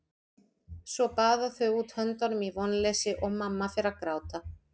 Svo baða þau út höndunum í vonleysi og mamma fer að gráta.